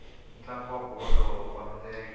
ntlangu wa bolo ya milenge